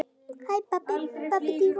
Þú fórst allt of snemma.